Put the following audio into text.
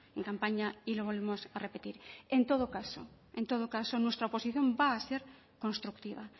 en campaña y lo volvemos a repetir en todo caso en todo caso nuestra oposición va a ser constructiva